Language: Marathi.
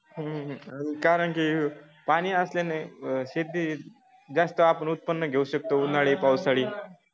हम्म कारण की पाणी असल्याने शेतीत जास्त उत्पन्न घेऊ शकतो उन्हाळी पावसाळी